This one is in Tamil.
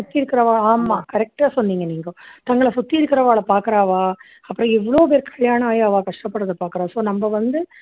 சுத்தி இருக்கிறவா ஆமா correct டா சொன்னீங்க நீங்க தங்கள சுத்தி இருக்கிறவங்கள பார்க்கிறா அப்பறோம் எவ்ளோ பேரு கல்யாணம் ஆகி அவா கஷ்ட படுறத பார்க்கிறா so நம்ம வந்து